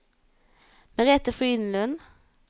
Merethe Frydenlund